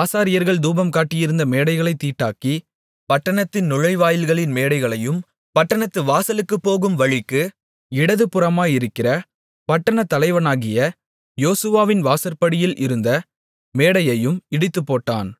ஆசாரியர்கள் தூபம்காட்டியிருந்த மேடைகளைத் தீட்டாக்கி பட்டணத்தின் நுழைவாயில்களின் மேடைகளையும் பட்டணத்து வாசலுக்குப்போகும் வழிக்கு இடதுபுறமாயிருக்கிற பட்டணத்தலைவனாகிய யோசுவாவின் வாசற்படியில் இருந்த மேடையையும் இடித்துப்போட்டான்